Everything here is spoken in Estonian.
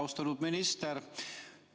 Austatud minister!